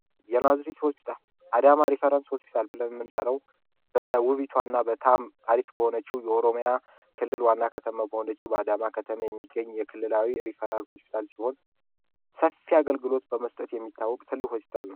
የናዝሬት ሆስፒታል አዳማ ሪፈረንስ ሆስፒታል በ ውቢቷና በጣም አሪፍ ከሆነችው የኦሮሚያ ክልል ዋና ከተማ በአዳማ ከተማ የሚገኝ የክልላዊ ሪፈራል ሆስፒታል ሲሆን ሰፊ አገልግሎት በመስጠት የሚታአወቅ ነው።